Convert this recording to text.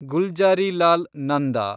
Gulzarilal Nanda